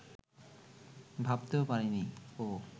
ভাবতেও পারেনি ও